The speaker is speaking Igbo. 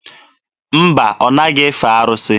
Mba, ọ naghị efe arụsị.